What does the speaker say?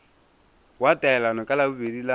wa taelano ka labobedi la